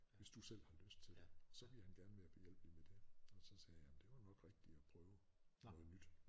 Hvis du selv har lyst til det så vil han gerne være behjælpelig med det og så sagde jeg det var nok rigtigt at prøve noget nyt